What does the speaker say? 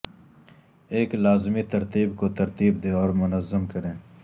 ایک لازمی ترتیب کو ترتیب دیں اور منظم کریں